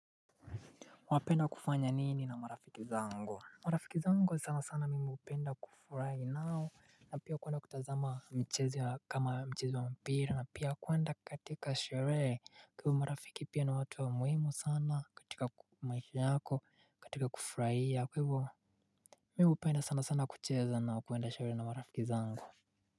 Wapenda kufanya nini na marafiki zangu? Marafiki zangu sana sana mimi hupenda kufurai nao. Na pia kwenda kutazama mchezo kama mchezo wa mpira na pia kwenda katika sherehe. Kwa ivo marafiki pia na watu wa muhimu sana katika maisha yako katika kufuraia kwa ivo. Mimi hupenda sana sana kucheza na kwenda sherehe na marafiki zangu.